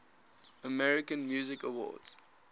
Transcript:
american music awards